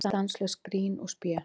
Stanslaust grín og spé.